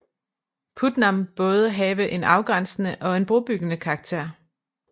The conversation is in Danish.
Putnam både have en afgrænsende og en brobyggende karakter